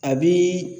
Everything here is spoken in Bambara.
A bi